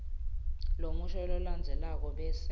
lomusho lolandzelako bese